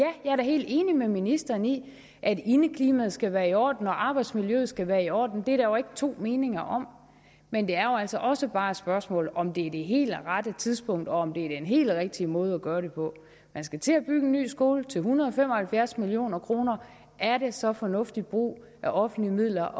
helt enig med ministeren i at indeklimaet skal være i orden og arbejdsmiljøet skal være i orden det er der jo ikke to meninger om men det er jo altså også bare et spørgsmål om om det er det helt rette tidspunkt og om det er den helt rigtige måde at gøre det på man skal til at bygge en ny skole til en hundrede og fem og halvfjerds million kroner er det så fornuftig brug af offentlige midler